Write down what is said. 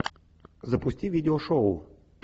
запусти видео шоу